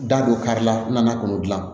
Da don kari la n nana k'olu dilan